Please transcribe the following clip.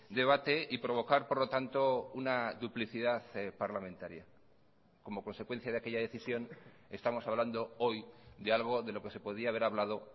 debate y provocar por lo tanto una duplicidad parlamentaria como consecuencia de aquella decisión estamos hablando hoy de algo de lo que se podía haber hablado